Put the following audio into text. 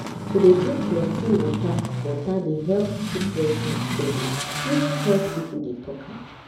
to dey drink plenty water water dey help keep breast milk steady. even health people dey talk am.